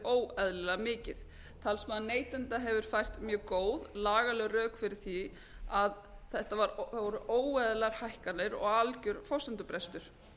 óeðlilega mikið talsmaður neytenda hefur sett fram mjög góð lagaleg rök fyrir því að þetta voru óeðlilegar hækkanir og algjör forsendubrestur